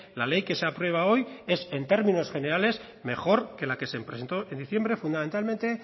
la ley que se aprueba hoy es en términos generales mejor que la que se presentó en diciembre fundamentalmente